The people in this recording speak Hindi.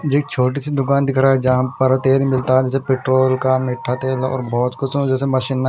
ये एक छोटी सी दुकान दिख रहा है जहां पर तेल मिलता हैं जैसे पेट्रोल का मीठा तेल और बहोत कुछ हो जैसे मशीन में--